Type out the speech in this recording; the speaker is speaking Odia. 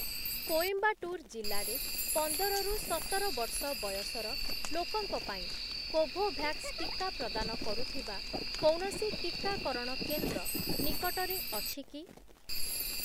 କୋଏମ୍ବାଟୁର ଜିଲ୍ଲାରେ ପନ୍ଦର ରୁ ସତର ବର୍ଷ ବୟସର ଲୋକଙ୍କ ପାଇଁ କୋଭୋଭ୍ୟାକ୍ସ ଟିକା ପ୍ରଦାନ କରୁଥିବା କୌଣସି ଟିକାକରଣ କେନ୍ଦ୍ର ନିକଟରେ ଅଛି କି?